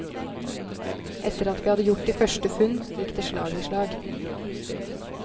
Etter at vi hadde gjort de første funn gikk det slag i slag.